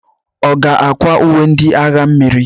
Ọ ga-akwa uwe ndị agha mmiri?